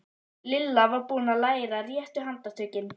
Lilla var búin að læra réttu handtökin.